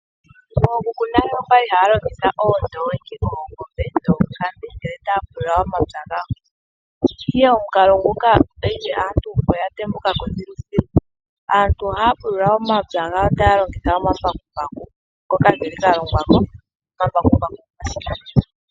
Ookuku nale oya li haya longitha oondoongi, oongombe noonkambe ngele taya pulula omapya gawo. Ihe omukalo nguka mopaife aantu oya tembuka ko thiluthilu. Aantu ohaya pulula omapya gawo taya longitha omambakumbaku, ngoka ga longwa ko. Omambakumbaku oga simana.